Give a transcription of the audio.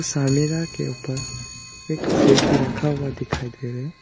के ऊपर एक फूल भी रखा हुआ दिखाई दे रहा है।